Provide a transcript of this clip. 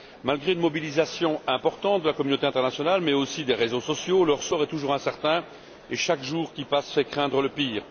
Malgré une mobilisation importante de la communauté internationale mais aussi des réseaux sociaux, leur sort est toujours incertain et chaque jour qui passe fait craindre le pire.